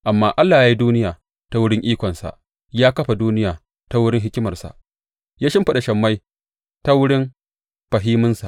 Amma Allah ya yi duniya ta wurin ikonsa; ya kafa duniya ta wurin hikimarsa ya shimfiɗa sammai ta wurin fahiminsa.